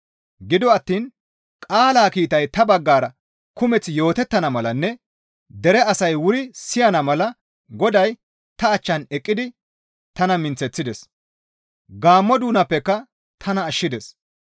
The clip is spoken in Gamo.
Gido attiin qaalaa kiitay ta baggara kumeth yootettana malanne dere asay wuri siyana mala Goday ta achchan eqqidi tana minththides; Gaammo doonappeka tana ashshides.